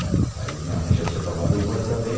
Aí minha mãe já tinha tomado umas também.